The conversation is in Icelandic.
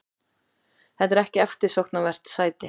Þetta er ekki eftirsóknarvert sæti.